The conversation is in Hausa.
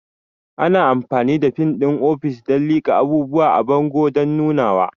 Ana amfani da fin ɗin ofis don liƙa abubuwa a bango don nunawa.